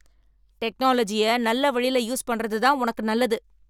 டெக்னாலஜியை நல்ல வழியில் யூஸ் பண்றது தான் உனக்கு நல்லது